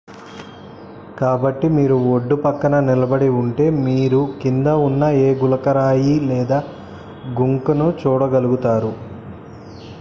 కాబట్టి మీరు ఒడ్డుపక్కన నిలబడి ఉంటే మీరు కింద ఉన్న ఏ గులకరాయిలేదా గుంక్ ను చూడగలుగుతారు